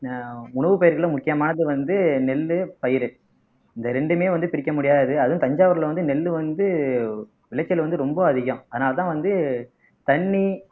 அஹ் உணவுப்பயிர்களும் முக்கியமானது வந்து நெல்லு பயிர் இந்த ரெண்டுமே வந்து பிரிக்க முடியாது அதுவும் தஞ்சாவூர்ல வந்து நெல்லு வந்து விளைச்சல் வந்து ரொம்ப அதிகம் அதனாலதான் வந்து தண்ணி